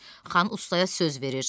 Xan ustaya söz verir.